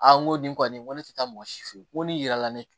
n ko nin kɔni tɛ taa mɔgɔ si fɛ yen ko ni yirala ne